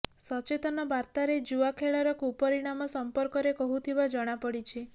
ସଚେତନ ବାର୍ତାରେ ଜୁଆ ଖେଳର କୁପରିଣାମ ସର୍ମ୍ପକରେ କହୁଥିବା ଜଣାପଡିଛି